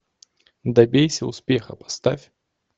добейся успеха поставь